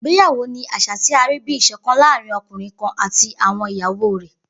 Igbeyawo ni aṣa ti a rii bi iṣọkan laarin ọkunrin kan ati àwọn iyawo rẹ.